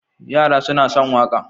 Yara suna son waƙa.